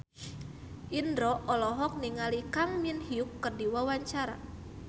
Indro olohok ningali Kang Min Hyuk keur diwawancara